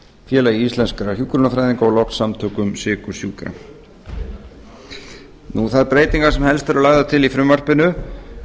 félagi íslenskra hjúkrunarfræðinga og loks samtökum sykursjúkra þær breytingar sem helst eru lagðar til í frumvarpinu